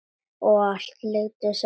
Og allt lygar, sagði hún.